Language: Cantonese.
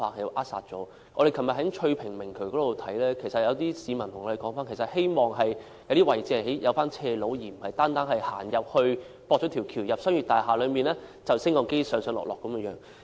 昨天我們在翠屏明渠視察時，有市民表示希望在一些位置興建斜路，而並非單是興建天橋接駁至進入商業大廈內，然後再乘搭升降機上落。